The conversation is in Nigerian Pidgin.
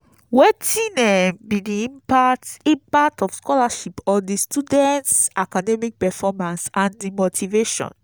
wetin um be di impact impact of scholarship on di students' academic performance and di motivation?